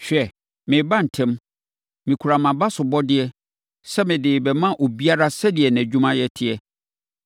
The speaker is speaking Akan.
Hwɛ! Mereba ntɛm! Mekura mʼabasobɔdeɛ sɛ mede rebɛma obiara sɛdeɛ nʼadwumayɛ teɛ.